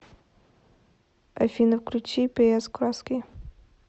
афина включи пи эс краски